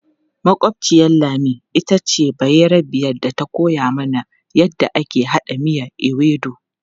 Makwabciyar Lami ita ce bayarbiyar da ta koya mana yadda ake haɗa miyan ewedu.